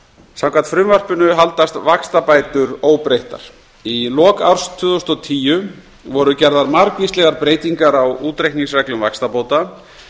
samkvæmt frumvarpinu haldast vaxtabætur óbreyttar í lok árs tvö þúsund og tíu voru gerðar margvíslegar breytingar á útreikningsreglum vaxtabóta